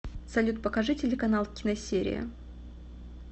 салют покажи телеканал киносерия